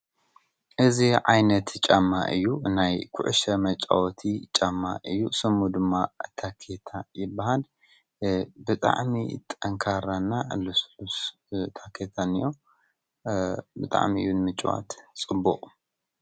እዚ ዓይነት ጫማ እዩ፡፡ ናይ ዂዑሾ መጫወቲ ጫማ እዩ፡፡ ስሙ ድማ ታኬታ ይበሃል፡፡ ብጥዕሚ ጠንካራን ልስሉስ ታኬታን እዮ ብጣዕሚ እዩ ንምጭዋት ጽቡቕ፡፡